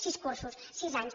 sis cursos sis anys